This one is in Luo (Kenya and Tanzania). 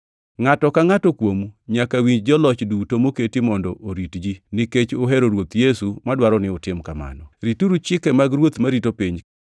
Ngʼato ka ngʼato kuomu nyaka winj joloch duto moketi mondo orit ji, nikech uhero Ruoth Yesu madwaro ni utim kamano. Rituru chike mag ruoth marito piny,